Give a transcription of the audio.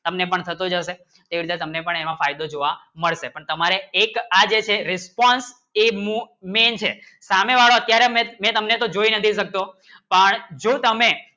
હમને પણ સંતો થશે એવા તમને ફાયદો જોવા મળશે પણ તમારે એક આંજશે response એ નું main છે કારણ કામે વાળું કેરેમેં જોયી નથી શકશો પણ શું તમે